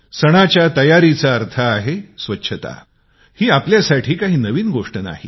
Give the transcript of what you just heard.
सणाच्या तयारीचा अर्थ आहे स्वच्छता ही आपल्यासाठी कांही नवीन गोष्ट नाही